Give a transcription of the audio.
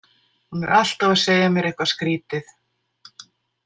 Hún er alltaf að segja mér eitthvað skrýtið.